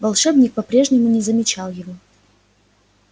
волшебник по-прежнему не замечал его